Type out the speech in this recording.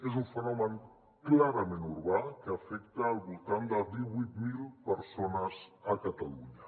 és un fenomen clarament urbà que afecta al voltant de divuit mil persones a catalunya